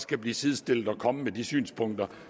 kan blive sidestillet og komme med de synspunkter